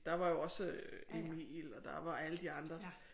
Der var jo også Emil og der var alle de andre